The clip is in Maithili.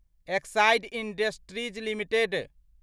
Exide industries limited